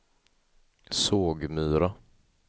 Sågmyra